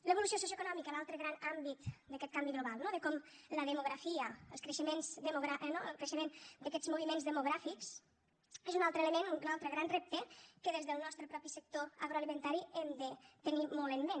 l’evolució socioeconòmica l’altre gran àmbit d’aquest canvi global no de com la demografia el creixement d’aquests moviments demogràfics és un altre element un altre gran repte que des del nostre propi sector agroalimentari hem de tenir molt en ment